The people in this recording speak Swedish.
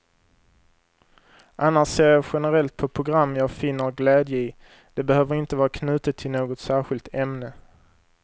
Annars ser jag generellt på program jag finner glädje i, det behöver inte vara knutet till något särskilt ämne.